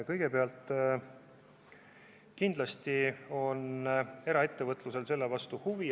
Kõigepealt, kindlasti on eraettevõtetel selle vastu huvi.